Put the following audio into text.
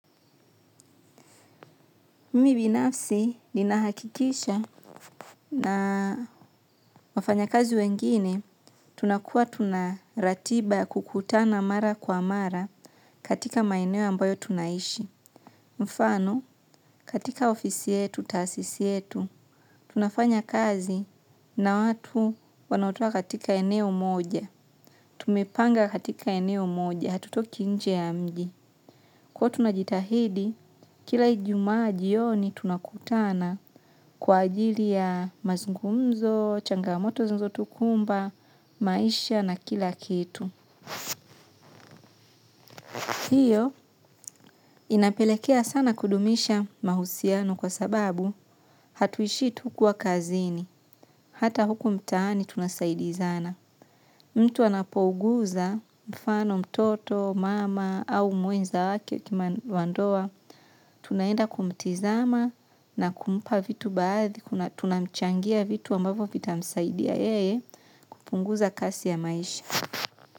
Mimi binafsi ninahakikisha na wafanya kazi wengine, tunakua tunaratiba ya kukutana mara kwa mara katika maeneo ambayo tunaishi. Mfano, katika ofisi yetu, tasisi yetu, tunafanya kazi na watu wanaotoka katika eneo moja. Tumepanga katika eneo moja, hatutoki nje ya mji. Huwa tunajitahidi, kila ijumaa jioni tunakutana kwa ajili ya mazungumzo, changamoto zinazo tukumba, maisha na kila kitu. Hiyo inapelekea sana kudumisha mahusiano kwa sababu hatuishi tu kuwa kazini. Hata huku mtani tunasaidizana. Mtu anapouguza mfano mtoto, mama au mwenza wake wandoa, tunaenda kumtizama na kumpa vitu baadhi, kuna tunamchangia vitu ambavo vita msaidia yeye, kupunguza kasi ya maisha.